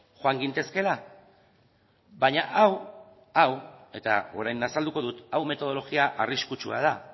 joan gintezkeela baina hau hau eta orain azalduko dut hau metodologia arriskutsua da